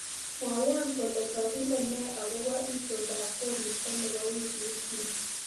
Mwawon kole kagile ne agoba itondab koristo nebo wiikit ni